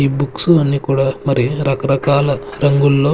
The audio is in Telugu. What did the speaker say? ఈ బుక్స్ అన్నీ కూడా మరి రకరకాల రంగుల్లో.